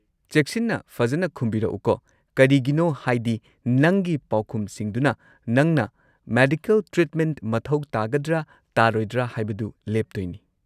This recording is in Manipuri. ꯆꯦꯛꯁꯤꯟꯅ ꯐꯖꯅ ꯈꯨꯝꯕꯤꯔꯛꯎꯀꯣ, ꯀꯔꯤꯒꯤꯅꯣ ꯍꯥꯏꯗꯤ ꯅꯪꯒꯤ ꯄꯥꯎꯈꯨꯝꯁꯤꯡꯗꯨꯅ ꯅꯪꯅ ꯃꯦꯗꯤꯀꯦꯜ ꯇ꯭ꯔꯤꯠꯃꯦꯟꯠ ꯃꯊꯧ ꯇꯥꯒꯗ꯭ꯔꯥ ꯇꯥꯔꯣꯏꯗ꯭ꯔꯥ ꯍꯥꯏꯕꯗꯨ ꯂꯦꯞꯇꯣꯏꯅꯤ꯫